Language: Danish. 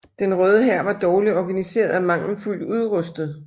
Den røde hær var dårligt organiseret og mangelfuldt udrustet